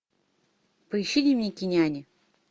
поищи дневники няни